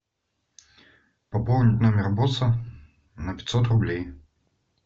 пополнить номер босса на пятьсот рублей